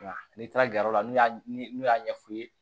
Nka n'i taara garila n'u y'a n'u y'a ɲɛ f'u ye